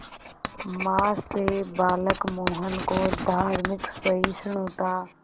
मां से बालक मोहन को धार्मिक सहिष्णुता